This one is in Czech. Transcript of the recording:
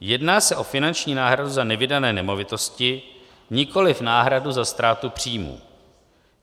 Jedná se o finanční náhradu za nevydané nemovitosti, nikoliv náhradu za ztrátu příjmu.